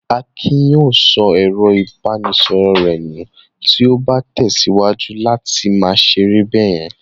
Akin yóò sọ ẹ̀rọ-ìbánisọ̀rọ̀ rẹ̀ nù tí ó bá tẹ̀síwájú láti máa ṣeré báyẹn.